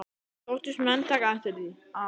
Þóttust menn taka eftir því, að